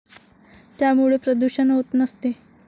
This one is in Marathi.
त्यामुळे प्रदुषण होत नसते.